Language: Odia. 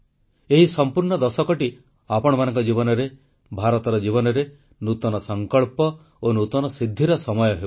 ଏହି ସମ୍ପୂର୍ଣ୍ଣ ଦଶକଟି ଆପଣମାନଙ୍କ ଜୀବନରେ ଭାରତର ଜୀବନରେ ନୂତନ ସଂକଳ୍ପ ଓ ନୂତନ ସିଦ୍ଧିର ସମୟ ହେଉ